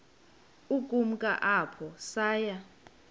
ukumka apho saya